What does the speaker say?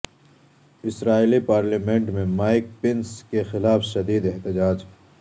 اسرائیلی parliament میں Mike Pence کے خلاف شدید احتجاج